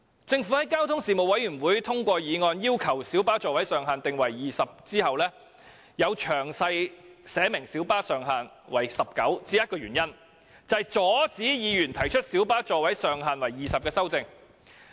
政府在交通事務委員會通過議案要求將小巴座位上限訂為20個後，在詳題寫明小巴上限為19個的原因只有一個，就是阻止議員提出將小巴座位上限提高至20個的修正案。